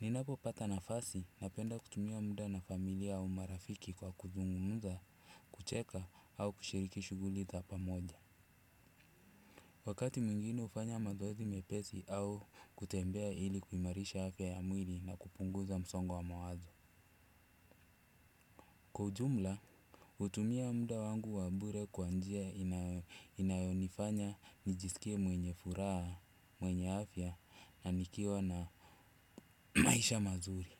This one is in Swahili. Ninapopata nafasi, napenda kutumia mda na familia au marafiki kwa kuzungumza. Kucheka au kushiriki shughuli za pamoja. Wakati mwingine hufanya mazoezi mepesi au kutembea ili kuimarisha afya ya mwili na kupunguza msongo wa mawazo. Kwa ujumla, hutumia mda wangu wa bure kwa njia inayo, inayonifanya nijiskie mwenye furaha, mwenye afya na nikiwa na maisha mazuri.